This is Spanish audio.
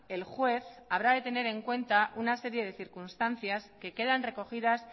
el juez habrá de tener en cuenta una serie de circunstancias que quedan recogidas